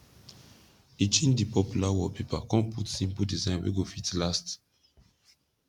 e change di popular wallpaper kon put simpol design wey go fit last